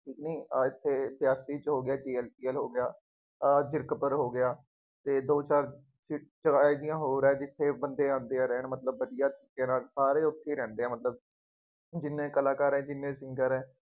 ਇੱਥੇ ਛਿਆਸੀ ਚ ਹੋ ਗਿਆ, ਹੋ ਗਿਆ, ਆਹ ਜ਼ੀਰਕਪੁਰ ਹੋ ਗਿਆ ਅਤੇ ਦੋ ਚਾਰ ਹੋੋਰ ਆ ਜਿੱਥੇ ਆਉਂਦੇ ਆ ਬੰਦੇ ਰਹਿਣ ਮਤਲਬ ਵਧੀਆ, ਕੇਰਾਂ ਸਾਰੇ ਉੱਥੇ ਰਹਿੰਦੇ ਆ ਮਤਲਬ ਜਿੰਨੇ ਕਲਾਕਾਰ ਹੈ, ਜਿੰਨੇ singer ਹੈ।